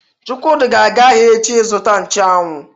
Chukwudi ga-aga ahia echi izuta nchu anwu.